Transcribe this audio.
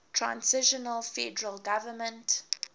transitional federal government